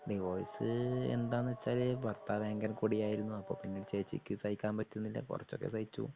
Divorce എന്താന്നുവെച്ചാല് ഭർത്താവു ഭയങ്കര വളരെ കുടിയായിരുന്നു. അപ്പൊ പിന്നെ ചേച്ചിക്കു സഹിക്കാൻ പറ്റുന്നില്ല കുറച്ചൊക്കെ സഹിച്ചു.